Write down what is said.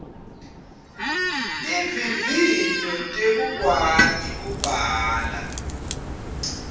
tivivinyo tekukwati kubhala